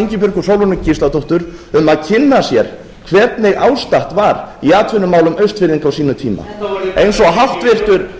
ingibjörgu sólrúnu gísladóttur að kynna sér hvernig ástatt var í atvinnumálum austfirðinga á sínum tíma eins og